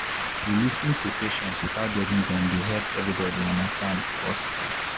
to lis ten to patients without judging dem dey help everybody understand better for hospital.